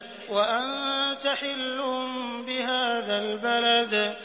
وَأَنتَ حِلٌّ بِهَٰذَا الْبَلَدِ